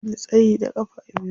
Ya fi ni tsayi da ƙafa biyu.